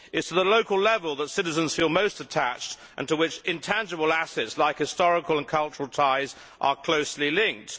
It is to the local level that citizens feel most attached, and to which intangible assets like historical and cultural ties are closely linked.